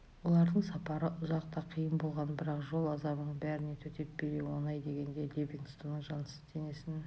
олардың сапары ұзақ та қиын болған бірақ жол азабының бәріне төтеп бере он ай дегенде ливингстонның жансыз денесін